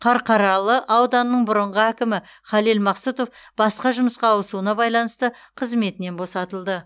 қарқаралы ауданының бұрынғы әкімі халел мақсұтов басқа жұмысқа ауысуына байланысты қызметінен босатылды